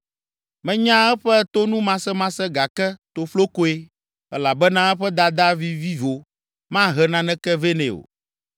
Menya eƒe tonumasemase gake toflokoe, elabena eƒe dada vivivo mahe naneke vɛ nɛ o.